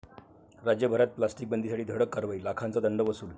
राज्यभरात प्लास्टिक बंदीसाठी धडक कारवाई, लाखांचा दंड वसूल